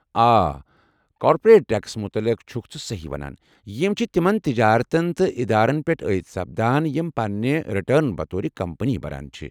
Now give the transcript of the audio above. آ، کارپوریٹ ٹٮ۪کسن متعلق چُھكھ ژٕ سہی ونان، یِم چھِ تِمن تجارتن تہٕ ادارن پیٹھ عٲید سپدان یم پننہِ رِٹرن بطور كمپنی بھران چھِ ۔